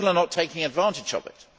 people are not taking advantage of it.